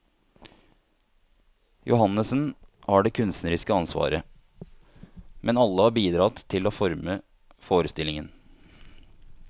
Johannessen har det kunstneriske ansvaret, men alle har bidratt til å forme forestillingen.